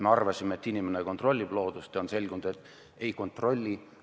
Me oleme arvanud, et inimene kontrollib loodust, aga on selgunud, et ei kontrolli.